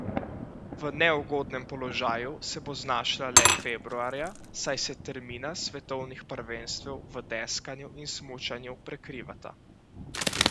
V neugodnem položaju se bo znašla le februarja, saj se termina svetovnih prvenstev v deskanju in smučanju prekrivata.